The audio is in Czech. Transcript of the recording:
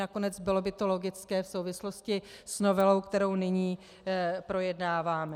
Nakonec bylo by to logické v souvislosti s novelou, kterou nyní projednáváme.